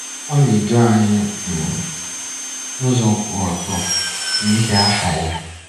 Ọ na-edu anyị um n'ụzọ kwụ ọtọ, n'ihi aha ya.